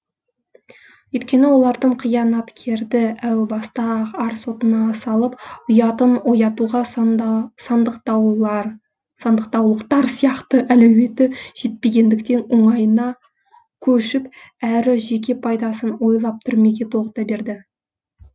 өйткені олардың қиянаткерді әу баста ақ ар сотына салып ұятын оятуға сандықтаулықтар сияқты әлеуеті жетпегендіктен оңайына көшіп әрі жеке пайдасын ойлап түрмеге тоғыта берді